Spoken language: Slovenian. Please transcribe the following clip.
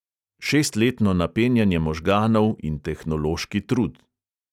Šestletno napenjanje možganov in tehnološki trud.